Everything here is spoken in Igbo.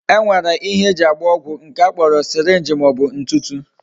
E nwere ihe eji agba ọgwụ nke a kpọrọ syringe ma ọbụ ntutu.